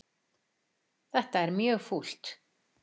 Þetta er mjög fúlt